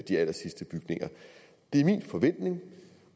de allersidste bygninger det er min forventning